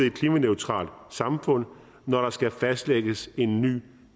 et klimaneutralt samfund når der skal fastlægges en ny